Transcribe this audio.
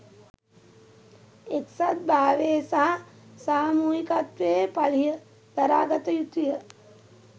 එක්සත් භාවයේ සහ සාමූහිකත්වයේ පලිහ දරා ගත යුතුය